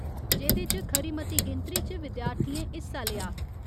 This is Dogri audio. जेह्दे च खरी मती गिनतरी च विद्यार्थियें हिस्सा लेआ।